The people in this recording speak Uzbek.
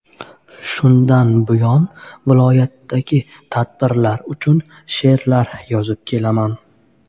Shundan buyon viloyatdagi bayramlar uchun she’rlar yozib kelaman.